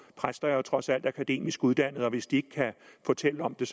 præster er jo trods alt akademisk uddannet og hvis de ikke kan fortælle om det